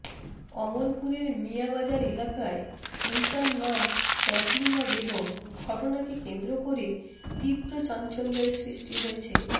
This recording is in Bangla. অমরপুরের মিয়া বাজার এলাকায় মৃতার নাম তসলিমা বেগম ঘটনাকে কেন্দ্র করে তীব্র চাঞ্চল্যের সৃষ্টি হয়েছে